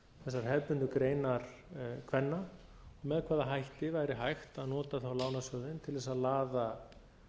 þessar hefðbundnu greinar kvenna og með hvaða hætti væri hægt að nota þá lánasjóðinn til þess að laða